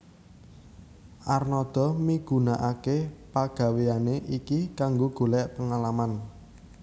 Arnada migunakake pagaweyane iki kanggo golek pengalaman